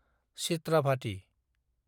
चित्राभाथि